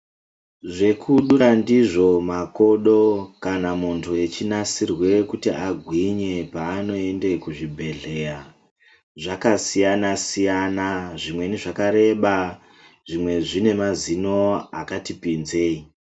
Zvekudura ndizvo makodo kana muntu echinasirwe kuti agwinye paanoende kuzvibhedhleya zvakasiyana siyana . Zvimweni zvakareba, zvimwe zvine mazino akati pinzei.